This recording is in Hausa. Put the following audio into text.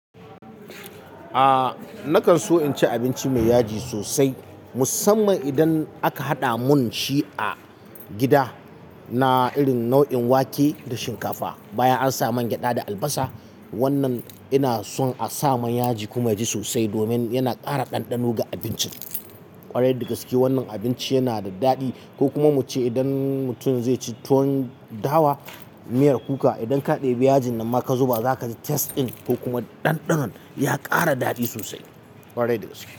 Nakan so incin abinci mai yaji sosai musamman idan aka haɗa mun shi a gida na irin nau'in wake da shinkafa bayan an sa mangyaɗa da albasa. Wannan ina son a sa man yaji kuma yaji sosai domin yana ƙara ɗanɗano ga abincin ƙwarai dagaske wannan abinci yana da daɗi ko kuma muce idan mutum zai ci tuwon dawa miyar kuka idan ka ɗebi yajin nan ma ka zuba zaka ji taste ɗin ko kuma ɗanɗanon ya ƙara daɗi sosai ƙwarai dagaske.